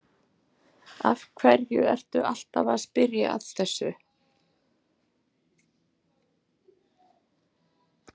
Af hverju ertu alltaf að spyrja að þessu?